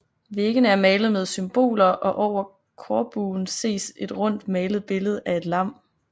Væggene er malet med symboler og over korbuen ses et rundt malet billede af et lam